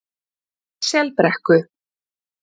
Selbrekku